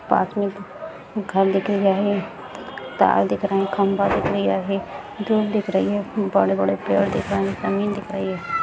पास में एक घर दिख रहा है तार दिख रहे है खंभा दिख रहा है है धूप दिख रही है बड़े-बड़े पेड़ दिख रहे हैं जमीन दिख रही है।